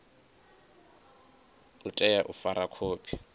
u tea u fara khophi